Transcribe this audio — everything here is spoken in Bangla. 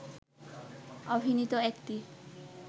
অভিনীত একটি